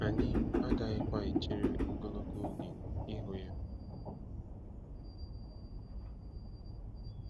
Anyị agaghịkwa echere ogologo oge ịhụ ya.